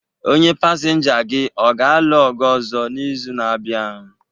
Onye pasinja gị ọ ga-alụ ọgụ ọzọ n'izu na-abịa?